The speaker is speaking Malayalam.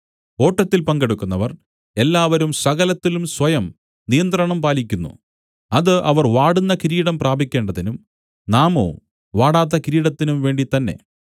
ഓട്ടത്തിൽ പങ്കെടുക്കുന്നവർ എല്ലാവരും സകലത്തിലും സ്വയം നിയന്ത്രണം പാലിക്കുന്നു അത് അവർ വാടുന്ന കിരീടം പ്രാപിക്കേണ്ടതിനും നാമോ വാടാത്ത കിരീടത്തിനും വേണ്ടിത്തന്നെ